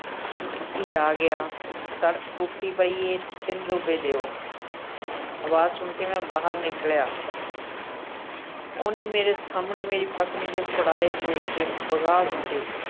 ਈ ਆ ਗਿਆ ਸੜਕ ਟੁੱਟੀ ਪਈ ਏ ਤਿੰਨ ਰੁਪਏ ਦਿਓ ਅਵਾਜ਼ ਸੁਣ ਕੇ ਮੈਂ ਬਾਹਰ ਨਿਕਲਿਆ ਉਹਨੇ ਮੇਰੇ ਸਾਹਮਣੇ ਮੇਰੀ ਪਤਨੀ ਦੇ ਫੜਾਏ ਦੋ ਰੁਪਏ ਵਗਾਹ ਸੁੱਟੇ।